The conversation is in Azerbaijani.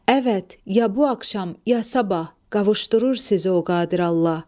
Əvət, ya bu axşam ya sabah qavuşdurur sizi o qadir Allah.